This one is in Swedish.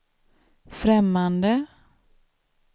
främmande